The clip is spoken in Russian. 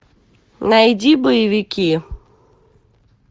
найди боевики